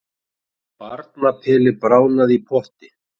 Barnapeli bráðnaði í potti